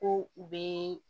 Ko u bɛ